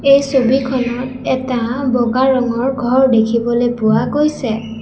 এই ছবিখনত এটা বগা ৰঙৰ ঘৰ দেখিবলৈ পোৱা গৈছে।